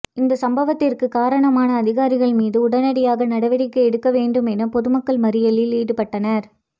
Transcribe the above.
இந்த சம்பவத்திற்கு காரணமான அதிகாரி மீது உடனடியாக நடவடிக்கை எடுக்கவேண்டும் என பொதுமக்கள் மறியலில் ஈடுபட்டனர்